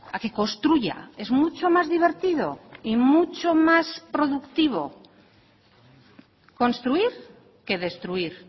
a que construya es mucho más divertido y mucho más productivo construir que destruir